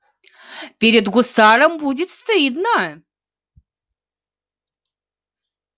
перед гусаром будет стыдно